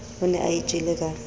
o ne a itjele ka